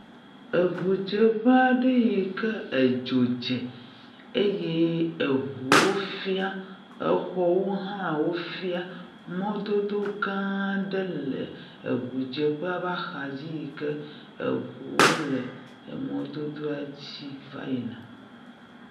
Ŋudzeƒe aɖe yi ke edzo dze eye ŋuwo fiã, xɔwo hã wo fiã. Mɔdodo gã aɖe le ŋudzeƒea ƒe axadzi yi ke ŋuwo le mɔdodoa dzi va yina.